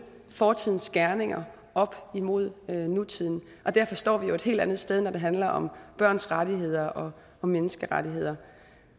fortidens gerninger op imod nutiden og derfor står vi jo et helt andet sted når det handler om børns rettigheder og menneskerettigheder